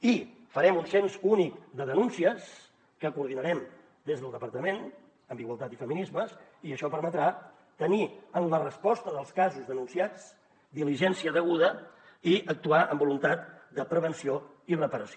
i farem un cens únic de denúncies que coordinarem des del departament amb igualtat i feminismes i això permetrà tenir en la resposta dels casos denunciats diligència deguda i actuar amb voluntat de prevenció i reparació